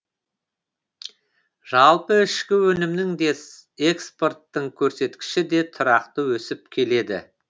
жалпы ішкі өнімнің де экспорттың көрсеткіші де тұрақты өсіп келеді